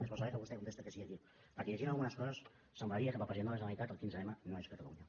és bo saber que vostè contesta que sí aquí perquè llegint algunes coses semblaria que per al president de la generalitat el quinze m no és catalunya